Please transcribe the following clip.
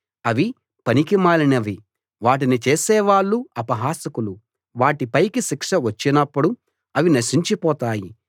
అవి పనికిమాలినవి వాటిని చేసే వాళ్ళు అపహాసకులు వాటి పైకి శిక్ష వచ్చినప్పుడు అవి నశించి పోతాయి